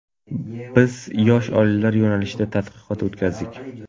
Biz yosh oilalar yo‘nalishida tadqiqot o‘tkazdik.